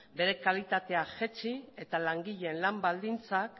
bere kalitatea jaitsi eta langileen lan baldintzak